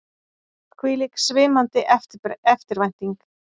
Hvílík svimandi eftirvænting!